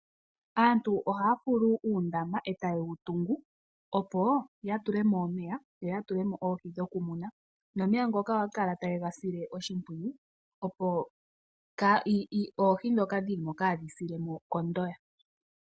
Aantu ohaya fulu uundama e taye wu tungu, opo ya tule mo omeya yo ya tule mo oohi dhokumuna nomeya ngoka ohaya kala taye ga sile oshimpwiyu, opo oohi ndhoka dhi li mo kaa dhi sile mo kondoya.